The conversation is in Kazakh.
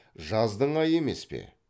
жаздың айы емес пе